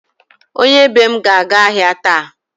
Onye be m ga-aga ahịa taa.